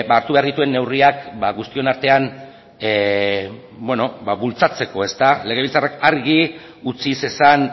hartu behar dituen neurriak ba guztion artean bueno ba bultzatzeko legebiltzarrak argi utzi zezan